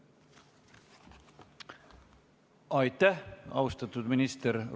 Aitäh, austatud minister!